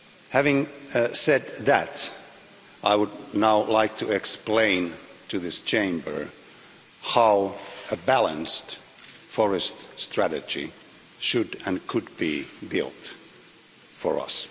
Having said that, I would now like to explain to this Chamber how a balanced forest strategy should and could be built for us.